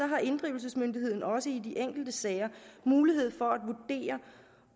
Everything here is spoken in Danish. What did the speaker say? har inddrivelsesmyndigheden også i de enkelte sager mulighed for